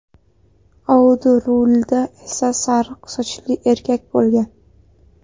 Audi rulida esa sariq sochli erkak bo‘lgan.